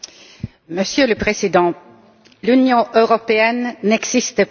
Monsieur le Président, l'Union européenne n'existe pas.